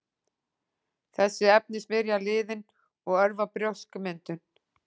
Þessi efni smyrja liðinn og örva brjóskmyndun.